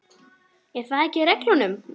Er það ekki í reglunum?